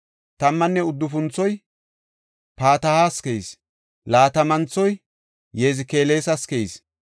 Tammanne uddufunthoy Patahas keyis. Laatamanthoy Yezekelas keyis.